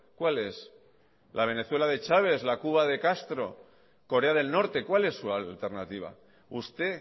cuál es la venezuela de chávez la cuba de castro corea del norte cuál es su alternativa usted